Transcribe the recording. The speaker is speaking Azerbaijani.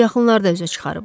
Bu yaxınlarda üzə çıxarıblar.